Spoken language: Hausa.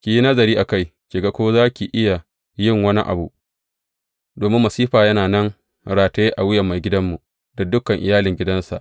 Ki yi nazari a kai, ki ga ko za ki iya yin wani abu, domin masifa yana nan rataye a wuyan maigidanmu da dukan iyalin gidansa.